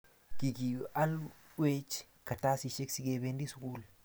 kikialwech kartasishek sikebendi sugul